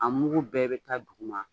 A mugu bɛɛ bɛ taa dugu ma.